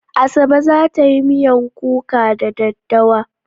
Asabe za ta yi miyan kuka da daddawa.